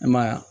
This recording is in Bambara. E ma y'a ye